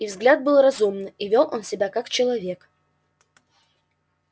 и взгляд был разумный и вёл он себя как человек